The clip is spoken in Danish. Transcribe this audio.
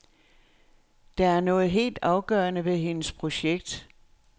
Der er noget helt afgørende ved hendes projekt.